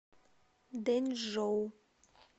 дэнчжоу